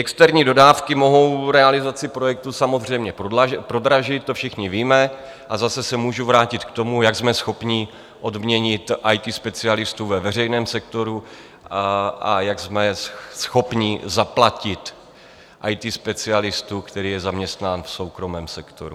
Externí dodávky mohou realizaci projektu samozřejmě prodražit, to všichni víme, a zase se můžu vrátit k tomu, jak jsme schopni odměnit IT specialistu ve veřejném sektoru a jak jsme schopni zaplatit IT specialistu, který je zaměstnán v soukromém sektoru.